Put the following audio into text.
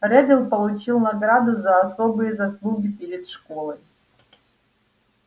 реддл получил награду за особые заслуги перед школой